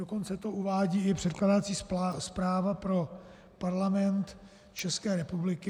Dokonce to uvádí i předkládací zpráva pro Parlament České republiky.